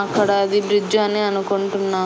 అక్కడ అది బ్రిడ్జి అని అనుకుంటున్నా.